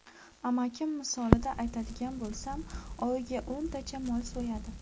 Amakim misolida aytadigan bo‘lsam, oyiga o‘ntacha mol so‘yadi.